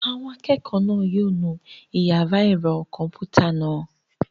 Àwọn akẹ́kọ̀ọ́ náà yóò nu àwọn yàrá ẹ̀rọ kọ̀m̀pútà náà.